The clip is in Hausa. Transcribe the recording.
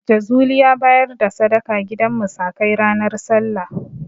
Jazuli ya bayar da sadaka gidan musakai ranar Sallah.